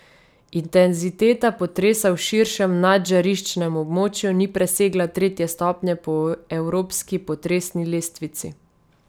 Intenziteta potresa v širšem nadžariščnem območju ni presegla tretje stopnje po evropski potresni lestvici.